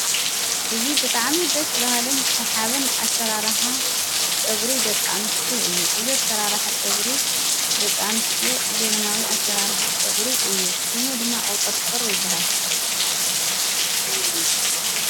እዝ ብጥዓሚ ደስ ባሃለን ሣሓብን ኣሠራራኃ ጨጕሪ ደቃንስት እዩ። እዝ ሠራራሕ ጨጕሪ ደቃኑስትዮ ዘበናዊ ኣሠራራሕ ጨጕሪ እዩ ።ሹሙ ድማ ቅውጠርጥር ይበሃል።